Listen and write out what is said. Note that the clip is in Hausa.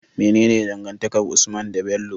Mene dangantakar usman de Bello?